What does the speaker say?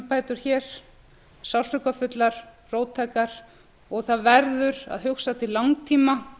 kerfisumbætur hér sársaukafullar róttækar og það verður að hugsa til langtíma